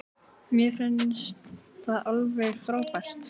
Mér finnst það alveg frábært.